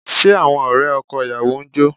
Ṣé àwọn ọ̀rẹ́ ọkọ ìyàwó ń jó?